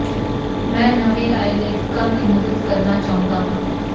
ਮੈਂ ਨਵੇਂ ਆਏ ਲੇਖਕਾਂ ਦੀ ਮਦਦ ਕਰਨਾ ਚਾਹੁੰਦਾ ਹਾਂ